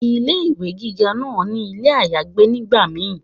Ilé ìwé gíga náà ní ilé àyágbé nígbà kan